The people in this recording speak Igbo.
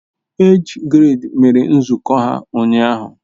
Age grade mere nzukọ ha ụnyahụ